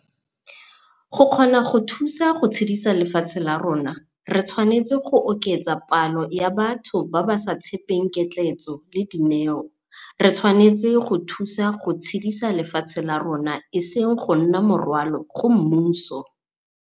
Go kgona go thusa go tshedisa lefatshe la rona, re tshwanetse go oketsa palo ya batho ba ba sa tshepeng ketleetso le dineo - re tshwanetse go thusa go tshedisa lefatshe la rona e seng go nna morwalo go mmuso.